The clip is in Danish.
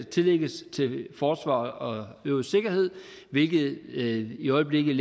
tillægges til forsvar og øvrig sikkerhed hvilket i øjeblikket